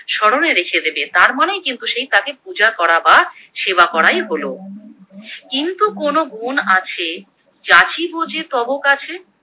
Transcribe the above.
স্মরণে রেখে দেবে, তার মানে কিন্তু সেই তাকে পূজাকরা বা সেবা করাই হলো। কিন্তু কোনো গুণ আছে যাচিব যে তব কাছে